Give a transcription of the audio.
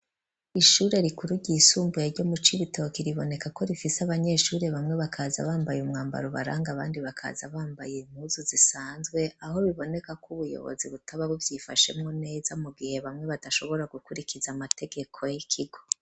Ishure rikuru ryisumbuye ryo mu Cibitoke riboneka ko rifise abanyeshuri bamwe bakaza bambaye umwambaro ubaranga bandi bakaza bambaye impuzu zisanzwe, aho biboneka ko ubuyobozi butababo byifashemwo neza mu gihe bamwe badashobora gukurikiza amategeko y'ikigo.